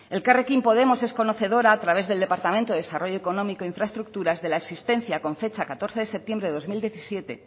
elkarrekin podemos es conocedora a través del departamento de desarrollo económico e infraestructuras de la existencia con fecha de catorce de septiembre de dos mil diecisiete